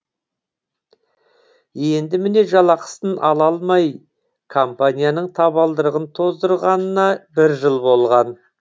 енді міне жалақысын ала алмай компанияның табалдырығын тоздырғанына бір жыл болған